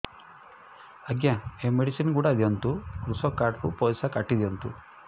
ଆଜ୍ଞା ଏ ମେଡିସିନ ଗୁଡା ଦିଅନ୍ତୁ କୃଷକ କାର୍ଡ ରୁ ପଇସା କାଟିଦିଅନ୍ତୁ